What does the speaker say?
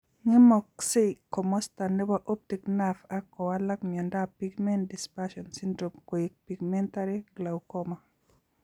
Ng'emaksei komasta nebo optic nerve ak kowalak miondop pigment dispersion syndrome koek pigmentary glaucoma.